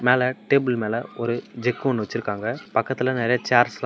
மேல டேபிள் மேல ஒரு ஜக்கு ஒன்னு வெச்சுருக்காங்க பக்கத்துல நெறைய சேர்ஸ் எல்லா.